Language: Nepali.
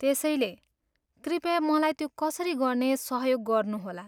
त्यसैले, कृपया मलाई त्यो कसरी गर्ने सहयोग गर्नुहोला।